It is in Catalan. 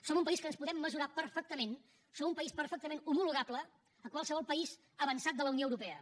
som un país que ens podem mesurar perfectament som un país perfectament homologable a qualsevol país avançat de la unió europea